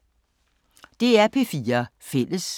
DR P4 Fælles